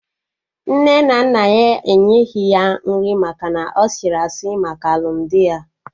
Nne na nna ya enyeghi ya nri maka na ọ sịrị asị maka alụmdi ya